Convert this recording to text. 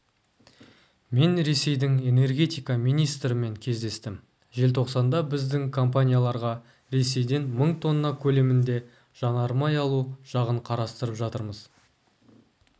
мен ресейдің энергетика министрімен кездестім желтоқанда біздің компанияларға ресейден мың тонна көлемінде жанармай алу жағынқарастырып жатырмыз